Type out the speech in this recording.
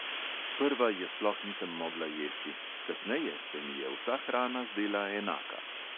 Sprva je sploh nisem mogla jesti, kasneje se mi je vsa hrana zdela enaka.